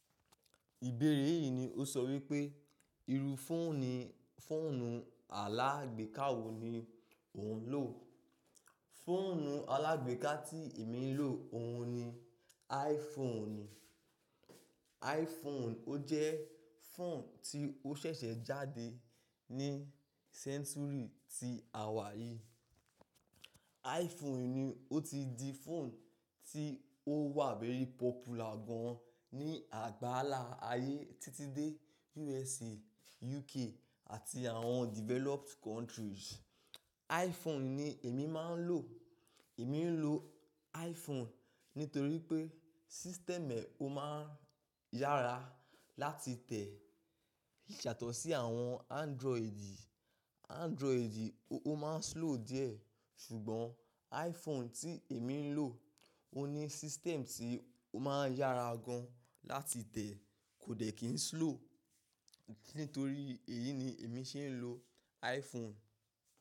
Ìbéèrè yìí ni ó sọ wípé, irú fóònù, foonu alágbèéká wo ni ò ń lò? Fóònù alágbèéká tí èmi ń lò òun ni iPhone ni. iPhone ó jẹ́ fóònù tí ó ṣẹ̀ṣẹ̀ jáde ní sẹ́ńtúrì tí àwa yí. iPhone ni ó ti di fóònù tí ó wà very pọ́púlar gan ní àgbálá ayé títí dé USA, UK àti àwọn developed countries. iPhone ni èmi máa ń lò. Èmi ń lò iPhone nítorí pé, system ẹ ó máa ń yára láti tẹ̀, yàtọ̀ sí àwọn Android. Android ó máa ń slow díẹ̀, ṣùgbọ́n iPhone tí èmi ń lò, ó ní system tí ó máa ń yára gan láti tẹ̀, kò dẹ̀ kí ń slow. Nítorí èyí ni èmi ṣe ń lò iPhone.